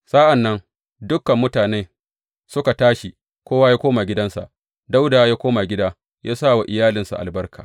Sa’an nan dukan mutanen suka tashi, kowa ya koma gidansa, Dawuda ya koma gida yă sa wa iyalinsa albarka.